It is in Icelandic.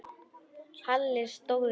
Halli stóð upp.